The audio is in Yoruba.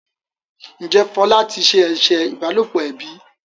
Njé Fola tí se eṣe ìbálòpọ̀ ẹbí?